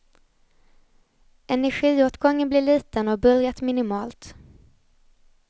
Energiåtgången blir liten och bullret minimalt.